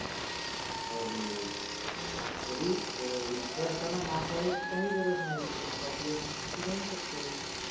अरे तरी एकट असताना mask लावायची काहीच गरज नाही. आपापल मस्त तू राहू शकतेस.